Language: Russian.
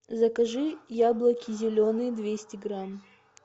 закажи яблоки зеленые двести грамм